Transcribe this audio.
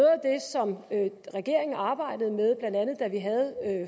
som regeringen arbejdede med blandt andet da vi havde